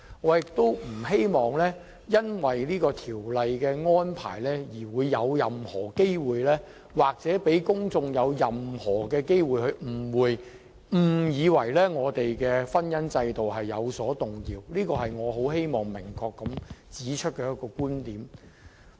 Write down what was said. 我亦不希望因為這項《條例草案》的安排而致製造任何機會，讓公眾有誤以為我們的婚姻制度有任何改變，這是我希望能明確指出的觀點。